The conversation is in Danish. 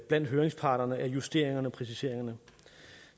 blandt høringsparterne af justeringerne og præciseringerne